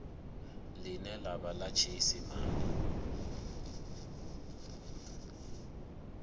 ḽine ḽa vha ḽa tshiisimane